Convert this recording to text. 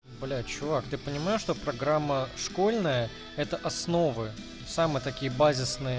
блять чувак ты понимаешь что программа школьная это основы самые такие базисные